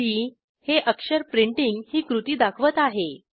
P हे अक्षर printing ही कृती दाखवत आहे